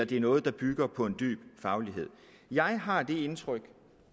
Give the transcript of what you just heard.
det er noget der bygger på en dyb faglighed jeg har det indtryk